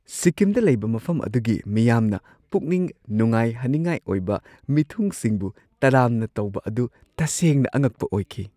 ꯁꯤꯛꯀꯤꯝꯗ ꯂꯩꯕ ꯃꯐꯝ ꯑꯗꯨꯒꯤ ꯃꯤꯌꯥꯝꯅ ꯄꯨꯛꯅꯤꯡ ꯅꯨꯡꯉꯥꯏꯍꯟꯅꯤꯡꯉꯥꯏ ꯑꯣꯏꯕ ꯃꯤꯊꯨꯡꯁꯤꯡꯕꯨ ꯇꯔꯥꯝꯅ ꯇꯧꯕ ꯑꯗꯨ ꯇꯁꯦꯡꯅ ꯑꯉꯛꯄ ꯑꯣꯏꯈꯤ꯫